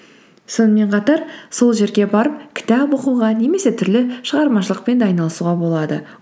сонымен қатар сол жерге барып кітап оқуға немесе түрлі шығармашылықпен де айналысуға болады